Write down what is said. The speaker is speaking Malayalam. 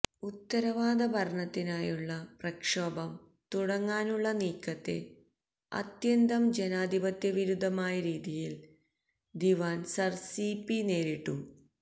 ഉത്തരവാദ ഭരണത്തിനായുള്ള പ്രക്ഷോഭം തുടങ്ങാനുള്ള നീക്കത്തെ അത്യന്തം ജനാധിപത്യവിരുദ്ധമായരീതിയിൽ ദിവാൻ സർ സി പി നേരിട്ടു